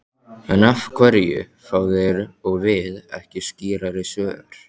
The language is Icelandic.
En af hverju fá þeir og við ekki skýrari svör?